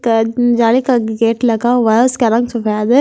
का जाली का गेट लगा हुआ है उसका रंग सफेद है।